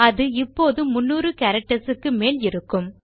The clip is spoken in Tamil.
அது இப்போது 300 கேரக்டர்ஸ் க்கு மேல் இருக்கும்